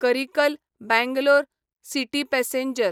Karikal Bangalore city passenger